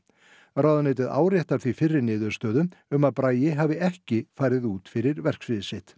ráðuneytið áréttar því fyrri niðurstöðu um að Bragi hafi ekki farið út fyrir verksvið sitt